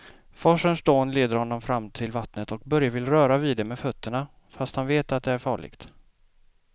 Forsens dån leder honom fram till vattnet och Börje vill röra vid det med fötterna, fast han vet att det är farligt.